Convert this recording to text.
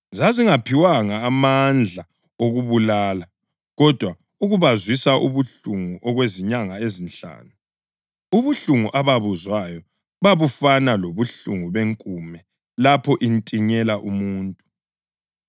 Zazingaphiwanga amandla okubabulala, kodwa ukubazwisa ubuhlungu okwezinyanga ezinhlanu. Ubuhlungu ababuzwayo babufana lobuhlungu benkume lapho intinyela umuntu.